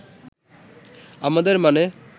আমাদের মানে